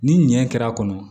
Ni nɛn kɛra a kɔnɔ